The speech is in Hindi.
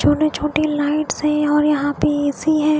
छोटे छोटे लाइट्स हैं और यहाँ पे ए_सी है.